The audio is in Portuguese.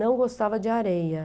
Não gostava de areia.